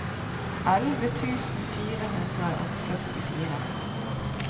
elleve tusen fire hundre og førtifire